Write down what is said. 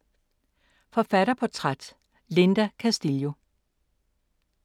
Forfatterportræt: Linda Castillo